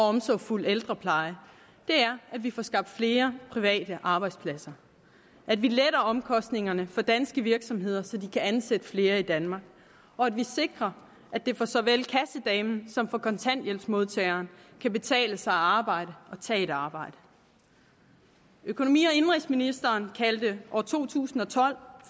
omsorgsfuld ældrepleje er at vi får skabt flere private arbejdspladser at vi letter omkostningerne for danske virksomheder så de kan ansætte flere i danmark og at vi sikrer at det for så vel kassedamen som kontanthjælpsmodtageren kan betale sig at arbejde og tage et arbejde økonomi og indenrigsministeren kaldte år to tusind og tolv